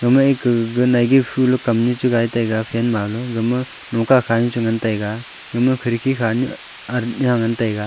gama ek ka naige fu lo kam nu gai tai a fan ma em khidki khanu che ngan tai a.